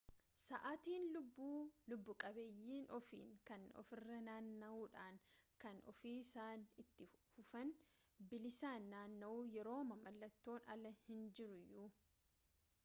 sa'aatin lubbu-qabeeyyii ofiin kan ofirra naanna'uudha kan ofiisaan itti fufuun bilisaan naanna'u yerooma mallattoon alaa hin jirreyyuu